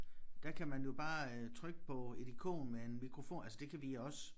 Der kan man jo bare øh trykke på et ikon med en mikrofon altså det kan vi også